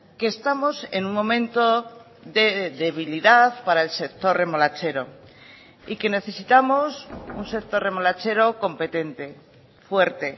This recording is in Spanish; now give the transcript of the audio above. que estamos en un momento de debilidad para el sector remolachero y que necesitamos un sector remolachero competente fuerte